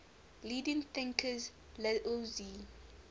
leading thinkers laozi